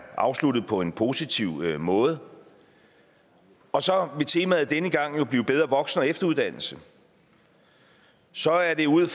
afsluttet på en positiv måde og så vil temaet denne gang blive bedre voksen og efteruddannelse så er det ud